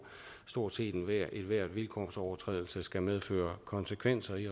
stort set ethvert vilkår for overtrædelse skal medføre konsekvenser i